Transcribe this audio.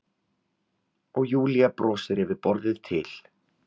Og Júlía brosir yfir borðið til